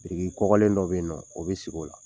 Biriki kɔkɔlen dɔ be yennɔ, o be sig'o la.